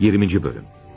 20-ci bölüm.